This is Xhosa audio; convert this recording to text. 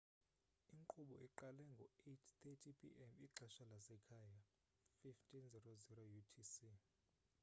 inkqubo iqale nge-8: 30 p.m. ixesha lasekhaya 15.00 utc